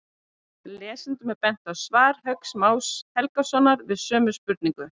Lesendum er bent á svar Hauks Más Helgasonar við sömu spurningu.